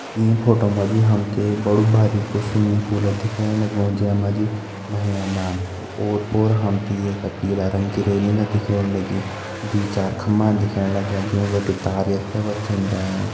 ईं फोटो मा जी हम त बड़ू स्विमिंग पूल दिखेणु लग्युं जै मा जी नहेदान ओर पोर हम त ये का पीला रंग की रेलिंग दिखेण लगीं दुई चार खम्बा दिखेण लग्यां जूं बिटि यथे वथे जायां।